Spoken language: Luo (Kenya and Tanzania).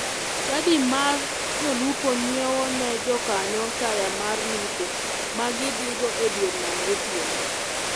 Chadi mar jolupo nyiewone jokanyo taya mar lupo ma gidhigo e dier nam gotieno.